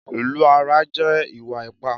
Ìlù ara jẹ́ ìwà ipá